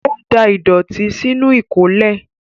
Ó da ìdọ̀tí sínú ìkólẹ̀.